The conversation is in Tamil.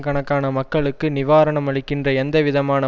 கணக்கான மக்களுக்கு நிவாரணம் அளிக்கின்ற எந்தவிதமான